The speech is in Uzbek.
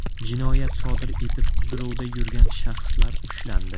Jinoyat sodir etib qidiruvda yurgan shaxslar ushlandi.